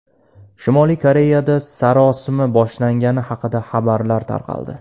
Shimoliy Koreyada sarosima boshlangani haqida xabarlar tarqaldi.